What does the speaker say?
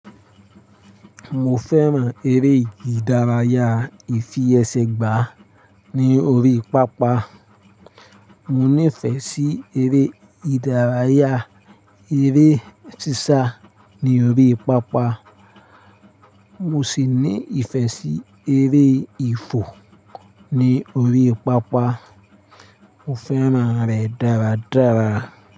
Mo fẹ́ràn eré ìdárayá ìfi ẹsẹ̀ gbà ní orí pápá. Mo nífẹ̀ẹ́ sí eré ìdárayá eré sísá ní orí pápá. Mo sì ní ìfẹ́ sí eré ifò ní orí pápá. Mo fẹ́ràn rẹ̀ dáradára.